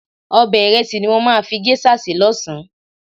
Ọbẹ̀ ìrẹsì ni mo máa fi géṣà sè lọ́sàn-án.